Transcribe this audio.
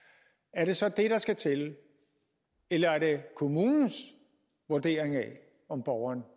er det så det der skal til eller er det kommunens vurdering af om borgeren